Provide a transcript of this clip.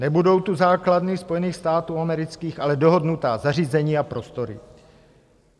Nebudou tu základny Spojených států amerických, ale dohodnutá zařízení a prostory.